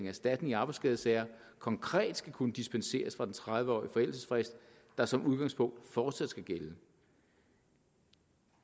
erstatning i arbejdsskadesager konkret skal kunne dispenseres fra den tredive årige forældelsesfrist der som udgangspunkt fortsat skal gælde